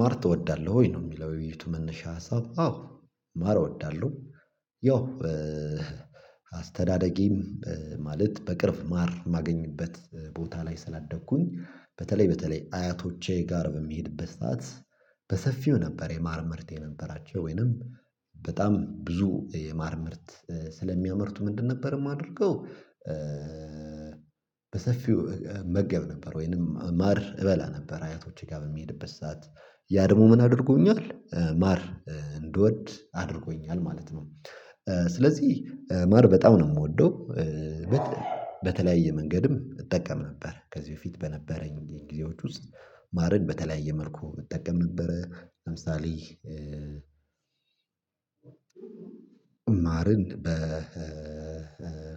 ማር ትወዳለህ ወይ ነው የሚለው? የዉይይቱ መነሻ ሀሳብ አዎ ማር እወዳለሁ። ያው አስተዳደጌም ማለት በቅርብ ማር ማገኝበት ቦታ ላይ ስላደግኩኝ በተለይ በተለይ አያቶቼ ጋር በሚሄድበት ሰዓት በሰፊው ነበር የማር ምርት የነበራቸው ወይንም በጣም ብዙ የማር ምርት ስለሚያመርቱ ምንድን ነበር የማደርገው። በሰፊው እመገብ ነበር ወይንም ማር እበላ ነበር አያቶቼ ጋር በሚሄድበት ሰዓት ያ ደግሞ ምን አድርጎኛል ማር እንድወድ አድርጎኛል ማለት ነው። ስለዚህ ማር በጣም ነው የምወደው። በተለያየ መንገድም እጠቀም ነበር ከዚህ በፊት በነበረኝ ጊዜዎች ውስጥ ማርን በተለያየ መልኩ እጠቀም ነበረ ለምሳሌ። ማርን በ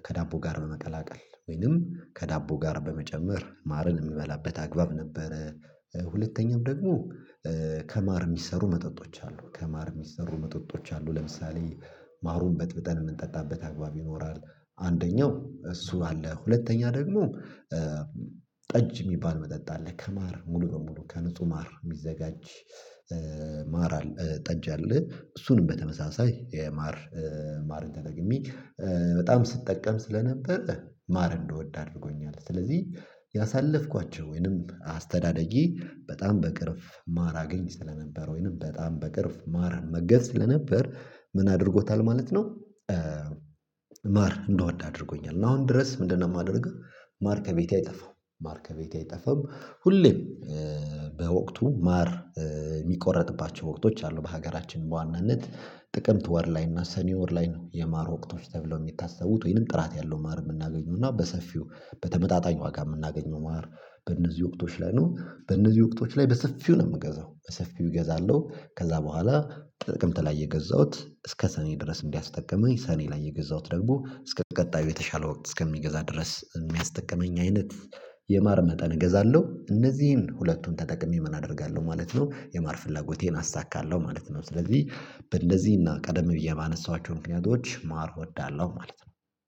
ከዳቦ ጋር መመቀላቀል ወይንም ከዳቦ ጋር በመጨመር ማርን የሚበላበት አግባብ ነበረ። ሁለተኛም ደግሞ ከማር የሚሰሩ መጠጦች አሉ ከማር የሚሰሩ መጠጦች አሉ ለምሳሌ ማሩን በጥብጠን የምንጠጣበት አግባብ ይኖራል። አንደኛው እሱ አለ ሁለተኛ ደግሞ ጠጅ የሚባል መጠጥ አለ ከማር ሙሉ በሙሉ ከንጹህ ማር የሚዘጋጅ። ማራ አል ጠጅ አለ እሱንም በተመሳሳይ የማር ማርን ተጠቅሜ በጣም ስትጠቀም ስለነበር ማር እንደወደ አድርጎኛል። ስለዚህ ያሳለፍኳቸው ወይንም አስተዳደጌ በጣም በቅርብ ማር አገኝ ስለነበር ወይንም በጣም በቅርብ ማር እመገዝ ስለነበር ምን አድርጎታል ማለት ነው። ማር እንድወድ አድርጎኛል እና አሁን ድረስ ምንድነው የማደርገው? ማር ከቤቴ አይጠፋም። ማር ከቤቴ አይጠፋም። ሁሌም በወቅቱ ማር የሚቆረጥባቸው ወቅቶች አሉ በሀገራችን በዋናነት ጥቅምት ወር ላይ እና ሰኔ ወር ላይ ነው የማር ወቅቶች ተብለው የሚታሰቡት ወይንም ጥራት ያለው ማር የምናገኙና በሰፊው በተመጣጣኝ ዋጋ የምናገኘው ማር። በእነዚህ ወቅቶች ላይ ነው በእነዚህ ወቅቶች ላይ በሰፊው ነው የምገዛው በሰፊው እገዛለሁ። ከዛ በኋላ ጥቅምት ላይ የገዛሁት እስከ ሰኔ ድረስ እንዲያስጠቅመኝ ሰኔ ላይ የገዛሁት ደግሞ እስከ ቀጣዩ የተሻለ ወቅት እስከሚገዛ ድረስ የሚያስጠቅመኝ አይነት የማር መጠን እገዛለሁ። እነዚህን ሁለቱን ተጠቅሜ ምን አደርጋለሁ ማለት ነው የማር ፍላጎቴን አሳካለሁ ማለት ነው። ስለዚህ እንደዚህ እና ቀደም ብዬ ባነሳኋቸው ምክንያቶች ማር እወዳለሁ ማለት ነው።